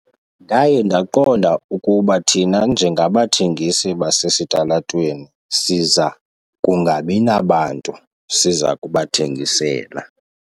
Ndaye ndaqonda ukuba thina njengabathengisi basesitalatweni siza kungabi nabantu siza kubathengisela.